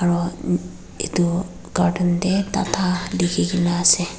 aro etu cartoon dae tata liki kina ase.